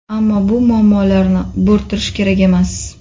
Ammo bu muammolarni bo‘rttirish kerak emas.